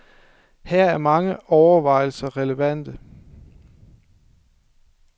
Her er mange overvejelser relevante.